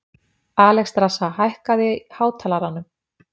Alexstrasa, hækkaðu í hátalaranum.